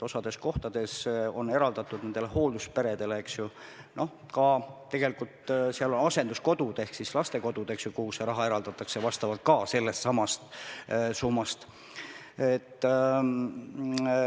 Osas kohtades on sellest summast eraldatud raha ka hooldusperedele – ja tegelikult seal on sees ka asenduskodud ehk siis lastekodud, eks ju.